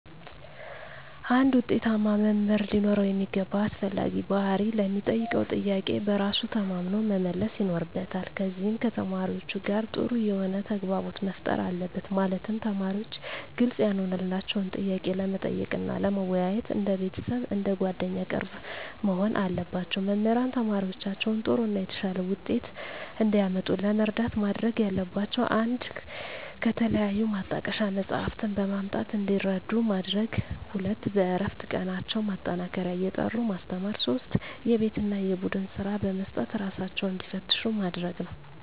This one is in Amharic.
አንድ ውጤታማ መምህር ሊኖረው የሚገባ አስፈላጊ ባህሪ ለሚጠየቀው ጥያቄ በራሱ ተማምኖ መመለስ ይኖርበታል ከዚም ከተማሪዎቹ ጋር ጥሩ የሆነ ተግባቦት መፍጠር አለበት ማለትም ተማሪዎች ግልጽ ያልሆነላቸውን ጥያቄ ለመጠየቅ እና ለመወያየት እንደ ቤተሰብ አንደ ጓደኛ ቅርብ መሆን አለባቸው። መምህራን ተማሪዎቻቸውን ጥሩ እና የተሻለ ውጤት እንዲያመጡ ለመርዳት ማድረግ ያለባቸው 1 ከተለያዩ ማጣቀሻ መፅሃፍትን በማምጣት እንዲረዱ ማድረግ 2 በእረፍት ቀናቸው ማጠናከሪያ እየጠሩ ማስተማር 3 የቤት እና የቡድን ስራ በመስጠት እራሳቸውን እንዲፈትሹ ማድረግ ነው